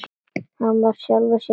Hann var sjálfum sér nógur.